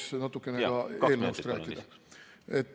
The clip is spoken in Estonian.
Siis jõuaks natukene eelnõust ka rääkida.